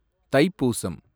Thaipusam